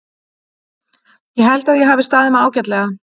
Ég held að ég hafi staðið mig ágætlega.